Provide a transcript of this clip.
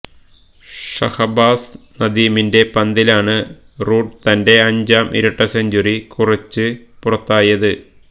ഷഹബാസ് നദീമിന്റെ പന്തിലാണ് റൂട്ട് തന്റെ അഞ്ചാം ഇരട്ട സെഞ്ചുറി കുറിച്ച് പുറത്തായത്